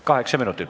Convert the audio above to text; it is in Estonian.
Kaheksa minutit.